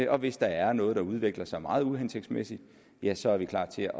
og hvis der er noget der udvikler sig meget uhensigtsmæssigt ja så er vi klar til